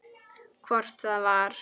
Hvort það var!